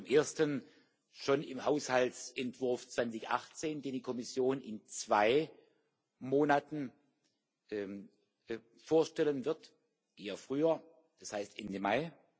Zum Ersten schon im Haushaltsentwurf 2018, den die Kommission in zwei Monaten vorstellen wird eher früher, das heißt, Ende Mai.